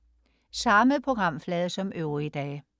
Samme programflade som øvrige dage